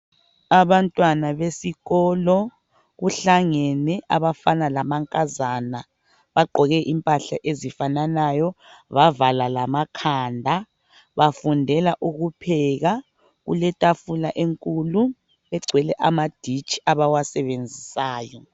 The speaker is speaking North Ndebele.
Abantwana besikolo kuhlangene abafana lamankazana bagqoke impahla ezifananayo bavala lamakhanda bafundela ukupheka. Kuletafula enkulu egcwele amaditshi abawasebenzisayo..